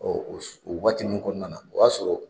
o waati nun kɔnɔna na o y'a sɔrɔ